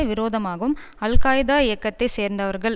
விரோதமாகவும் Al Qaeda இயக்கத்தை சேர்ந்தவர்கள்